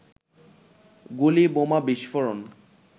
গুলি, বোমা বিস্ফোরণ